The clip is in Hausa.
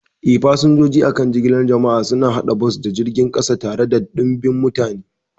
Eh, fasinjoji a kan jigilar jama'a suna hada bas da jiragen kasa tare da ɗimbin mutane.